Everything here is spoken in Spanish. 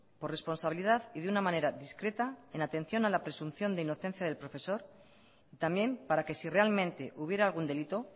por responsabilidad y de una manera discreta en atención a la presunción de inocencia del profesor y también para que si realmente hubiera algún delito